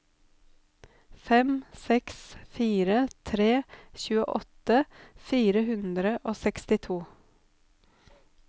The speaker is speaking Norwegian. fem seks fire tre tjueåtte fire hundre og sekstito